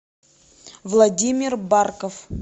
владимир барков